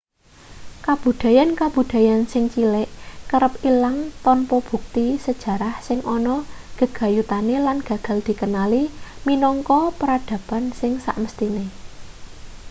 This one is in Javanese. kabudayan-kabudayan sing cilik kerep ilang tanpa bukti sejarah sing ana gegayutane lan gagal dikenali minangka peradaban sing samesthine